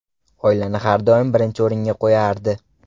Oilani har doim birinchi o‘ringa qo‘yardi.